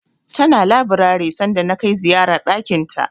Tana labirari sanda na kai ziyara ɗakinta.